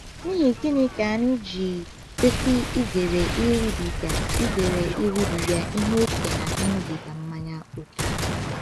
N’ihi gịnị ka anyị ji kwesị izere iribiga izere iribiga ihe ókè na ịṅụbiga mmanya ókè?